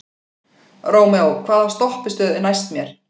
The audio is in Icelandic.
Rómeó, hvaða stoppistöð er næst mér?